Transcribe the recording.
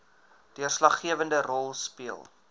deurslaggewende rol speel